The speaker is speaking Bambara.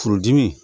Furudimi